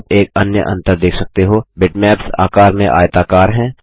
आप एक अन्य अंतर देख सकते हो - बिटमैप्स आकार में आयताकार हैं